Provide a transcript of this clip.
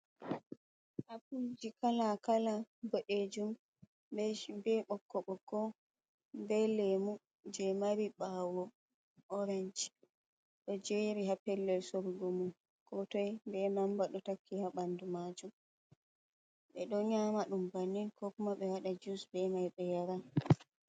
Apul ji kala-kala. Boɗejum be ɓokko-ɓokko be leemu je mari ɓawo (orench). Ɗo jeeri ha pellel soorugo mum. Ko toi be namba ɗo takki ha bandu maajum. Ɓe ɗo nƴama ɗum bannin ko kuma be wada jus be mai ɓe yara.